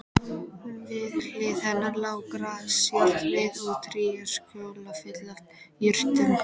Við hlið hennar lá grasajárnið og tréskjóla full af jurtum.